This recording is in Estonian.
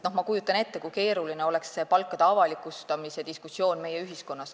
Ma kujutan ette, kui keeruline oleks meie ühiskonnas see palkade avalikustamise diskussioon.